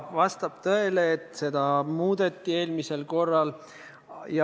Vastab tõele, et seda regulatsiooni muudeti.